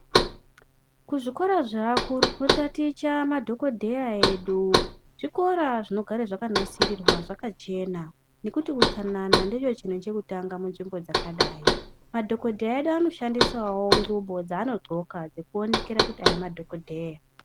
Kuzvikoro zveakuru kunotaticha madhokodheya edu zvikora zvinogare zvakanasirirwa zvakachena nekuti utsanana ndoochinhu chekutanga munzvimbo dzakadayi. Madhogodheya edu anoshandisawo ngubo dzaanodxoka dzekuonekera kuti aya madhogodheya.